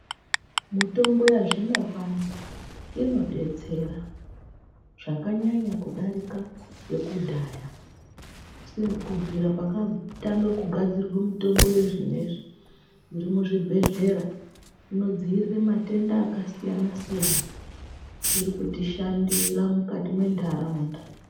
Mutombo yazvinopano inodetsera zvakanyanya kudarika yekudhaya. Kubvira pakatanga kugadzirwa mitombo yezvinezvi irimuzvibhedhlera inodziirire matenda akasiyana-siyana irikutishandira mukati mwe ndaraunda.